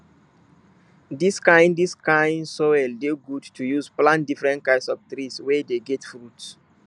dis kind dis kind soil dey good to use plant different kind of trees wey dey get fruits